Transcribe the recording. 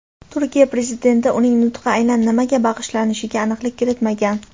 Turkiya Prezidenti uning nutqi aynan nimaga bag‘ishlanishiga aniqlik kiritmagan.